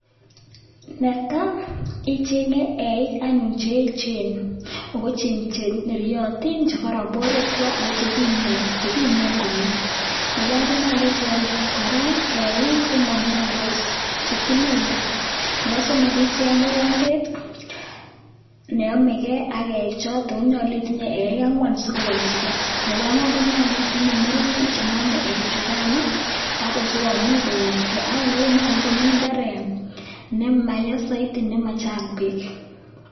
Netai ichenge eik anyun che echen ako cheneriotin che koron borwekwak ako che kimnot che kimen komie, nebo aeng konyolu icheng kora eik che mamiondos chetililen, nebo somok icheng mokombet ne amekei ak eichoton, ak konyolu itinye eik angwan sikowalchige, nebo agwan konyolu itinye murenik chenome eikchukan oo ako sikomuch kowalchige ak kora nyolu komi imbaret nemaya zaidi nemachang peek.